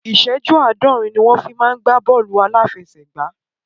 Ìsẹ́jú àádọ́rin ni wọ́n fi ń gbá bọ́ọ̀lù aláfẹsẹ̀gbá